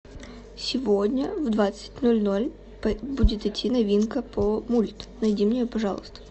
сегодня в двадцать ноль ноль будет идти новинка по мульт найди мне ее пожалуйста